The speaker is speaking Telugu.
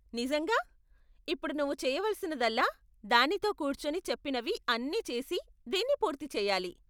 నిజంగా! ఇప్పుడు నువ్వు చెయ్యవలసినదల్లా దానితో కూర్చొని చెప్పినవి అన్నీ చేసి దీన్ని పూర్తి చేయాలి.